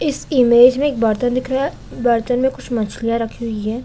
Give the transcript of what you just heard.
इस इमेज में एक बर्तन दिखा रहा है बर्तन में कुछ मछलियां रखी हुई हैं।